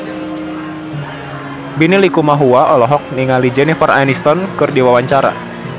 Benny Likumahua olohok ningali Jennifer Aniston keur diwawancara